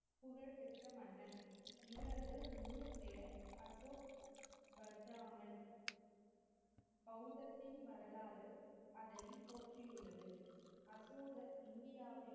பெற்ற மன்னன். இவரது முழுப்பெயர் அசோக் வர்தாமன். பௌதத்தின் வரலாறு அதனை போற்றியுள்ளது. அசோகர் இந்தியாவை,